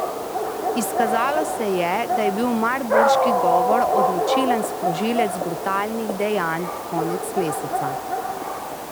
Izkazalo se je, da je bil marburški govor odločilen sprožilec brutalnih dejanj konec meseca.